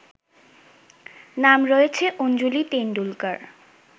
নাম রয়েছে অঞ্জুলি টেন্ডুলকার